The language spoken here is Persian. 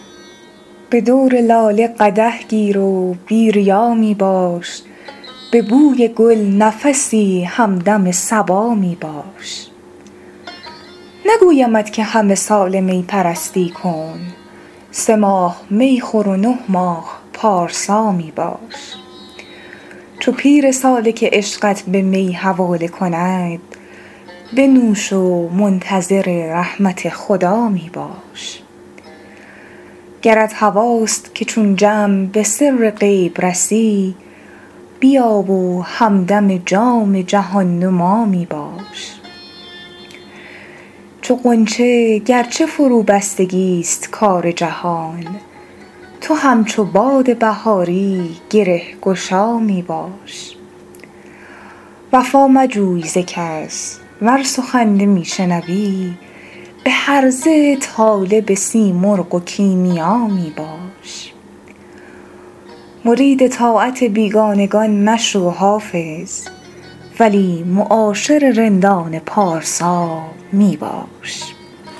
به دور لاله قدح گیر و بی ریا می باش به بوی گل نفسی همدم صبا می باش نگویمت که همه ساله می پرستی کن سه ماه می خور و نه ماه پارسا می باش چو پیر سالک عشقت به می حواله کند بنوش و منتظر رحمت خدا می باش گرت هواست که چون جم به سر غیب رسی بیا و همدم جام جهان نما می باش چو غنچه گر چه فروبستگی ست کار جهان تو همچو باد بهاری گره گشا می باش وفا مجوی ز کس ور سخن نمی شنوی به هرزه طالب سیمرغ و کیمیا می باش مرید طاعت بیگانگان مشو حافظ ولی معاشر رندان پارسا می باش